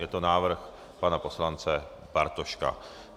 Je to návrh pana poslance Bartoška.